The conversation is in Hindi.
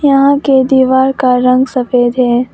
यहां के दीवार का रंग सफेद है।